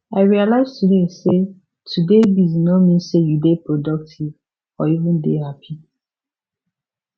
i realize today say to dey busy no mean say you dey productive or even dey happy